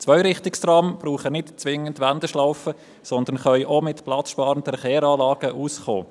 Zweirichtungstrams benötigen nicht zwingend Wendeschlaufen, sondern sie kommen auch mit platzsparenden Kehranlagen aus.